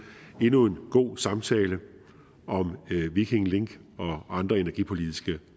endnu en god samtale om viking link og andre energipolitiske